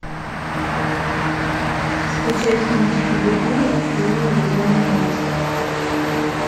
скачай фильм скуби ду лунный безумный монстр